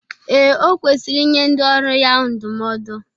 Ee, o kwesiri inye ndị ọrụ ya ndụmọdụ.